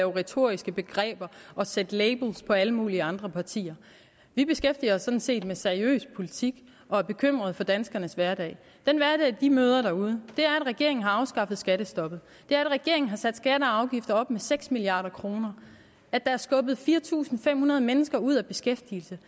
retoriske begreber og sætte labels på alle mulige andre partier vi beskæftiger os sådan set med seriøs politik og er bekymrede for danskernes hverdag den hverdag de møder derude er at regeringen har afskaffet skattestoppet det er at regeringen har sat skatter og afgifter op med seks milliard kr at der er skubbet fire tusind fem hundrede mennesker ud af beskæftigelse